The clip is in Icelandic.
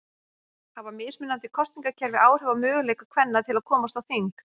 Hafa mismunandi kosningakerfi áhrif á möguleika kvenna til að komast á þing?